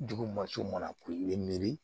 Dugu masu mana ku miri